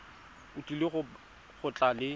o tlile go tla le